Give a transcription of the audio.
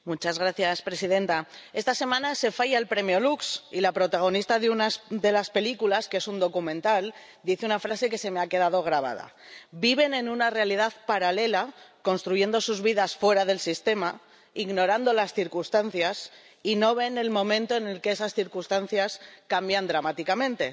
Señora presidenta, esta semana se falla el Premio Lux y la protagonista de unas de las películas, que es un documental, dice una frase que se me ha quedado grabada Viven en una realidad paralela, construyendo sus vidas fuera del sistema, ignorando las circunstancias, y no ven el momento en el que esas circunstancias cambian dramáticamente.